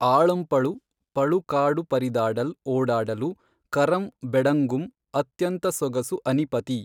ಆಳಂಪೞು ಪಳು ಕಾಡು ಪರಿದಾಡಲ್ ಓಡಾಡಲು ಕರಂ ಬೆಡಂಗುಂ ಅತ್ಯಂತ ಸೊಗಸು ಅನಿಪತೀ